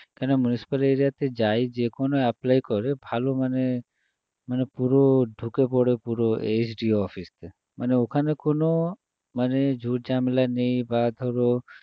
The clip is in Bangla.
কেন municipal area তে যাই যে কোনো apply করে ভালো মানে মানে পুরো ঢুকে পড়ে পুরো SDO office এ মানে ওখানে কোনো মানে ঝুট ঝামেলা নেই বা ধরো